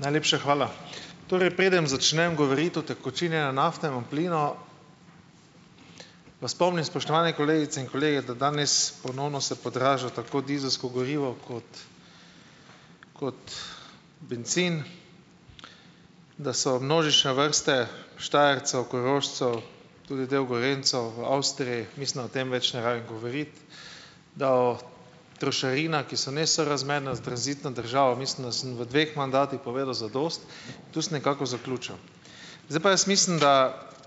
Najlepša hvala. Torej preden začnem govoriti o utekočinjenem naftnem plinu, vas spomnim, spoštovane kolegice in kolegi, da danes ponovno se podražilo tako dizelsko gorivo kot kot bencin, da so množične vrste Štajercev, Korošcev, tudi del Gorenjcev v Avstriji, mislim, da o tem več ne rabim govoriti, da o trošarinah, ki so nesorazmerne s tranzitno državo - mislim, da sem v dveh mandatih povedal zadosti. Tu sem nekako zaključil. Zdaj pa jaz mislim, da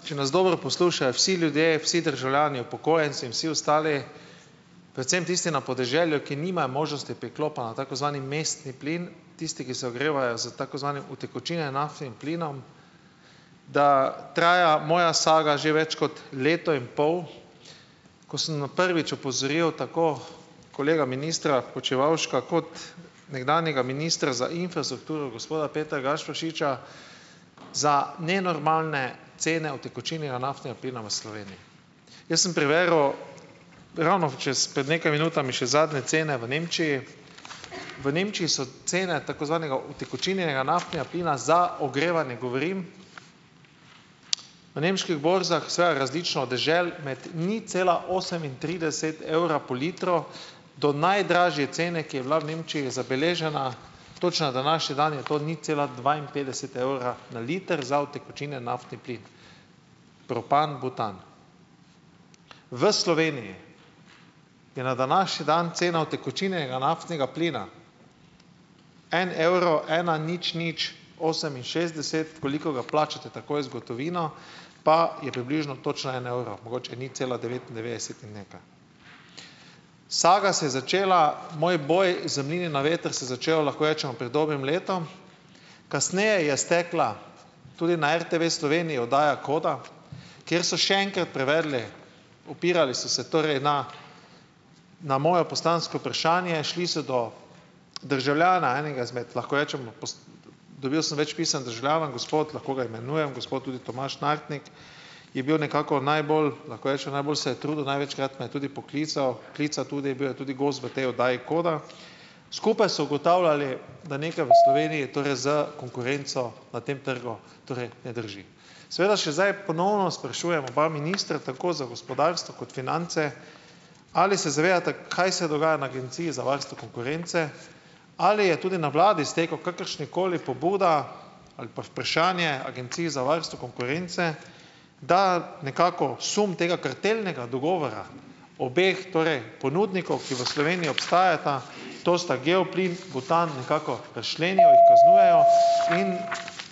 če nas dobro poslušajo vsi ljudje, vsi državljani, upokojenci in vsi ostali, predvsem tisti na podeželju, ki nimajo možnosti priklopa na tako zvani mestni plin, tisti, ki se ogrevajo s tako zvano utekočinjeno nafto in plinom, da traja moja saga že več kot leto in pol. Ko sem na prvič opozoril tako kolega ministra Počivavška kot nekdanjega ministra za infrastrukturo, gospoda Petra Gašperšiča za nenormalne cene utekočinjena naftnega plina v Sloveniji. Jaz sem preveril ravno čas pred nekaj minutami še zadnje cene v Nemčiji. V Nemčiji so cene tako zvanega utekočinjenega naftnega plina - za ogrevanje govorim, na nemških borzah za različno od dežel med nič cela osemintrideset evra po litru, do najdražje cene, ki je bila v Nemčiji zabeležena točno na današnji dan, je to nič cela dvainpetdeset evra na liter za utekočinjen naftni plin - propan, butan. V Sloveniji je na današnji dan cena utekočinjenega naftnega plina en evro ena nič nič oseminšestdeset, koliko ga plačate takoj z gotovino pa je približno točno en evro, mogoče nič cela devetindevetdeset in nekaj. Saga se je začela, moj boj z mlini na veter se je začel, lahko rečemo, pred dobrim letom. Kasneje je stekla tudi na RTV Sloveniji oddaja Koda, kjer so še enkrat preverili, opirali so se torej na na moje poslansko vprašanje. Šli so do državljana enega izmed, lahko rečemo dobil sem več pisem državljanov in gospod, lahko ga imenujem, gospod tudi Tomaž Nartnik je bil nekako najbolj, lahko rečem, najbolj se je trudil, največkrat me je tudi poklical, klical tudi, bil je tudi gost v tej oddaji Koda. Skupaj so ugotavljali, da nekaj v Sloveniji torej s konkurenco na tem trgu, torej ne drži. Seveda še zdaj ponovno sprašujem oba ministra, tako za gospodarstvo kot finance, ali se zavedate, kaj se dogaja na Agenciji za varstvo konkurence, ali je tudi na vladi stekla kakršnakoli pobuda ali pa vprašanje Agenciji za varstvo konkurence, da nekako sum tega kartelnega dogovora obeh torej ponudnikov, ki v Sloveniji obstajata, to sta Geoplin, Butan, nekako razčlenijo, jih kaznujejo. In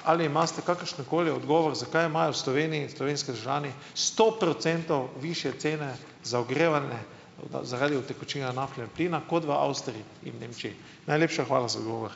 ali imate kakršenkoli odgovor, zakaj imajo v Sloveniji slovenski državljani sto procentov višje cene za ogrevanje, morda zaradi utekočinjena naftnega plina kot v Avstriji in Nemčiji. Najlepša hvala za odgovor.